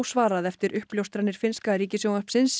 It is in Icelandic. ósvarað eftir uppljóstranir finnska ríkissjónvarpsins